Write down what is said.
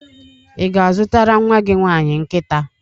Ị ga-azụtara nnwa gị nwaanyị nkịta?